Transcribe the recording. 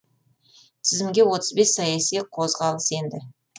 тізімге отыз бес саяси қозғалыс енді